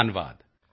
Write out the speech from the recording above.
ਧੰਨਵਾਦ